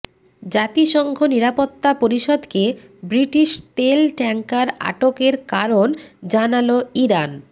জাতিসংঘ নিরাপত্তা পরিষদকে ব্রিটিশ তেল ট্যাংকার আটকের কারণ জানাল ইরান